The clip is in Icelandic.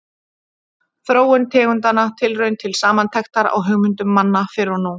Þróun tegundanna: Tilraun til samantektar á hugmyndum manna fyrr og nú.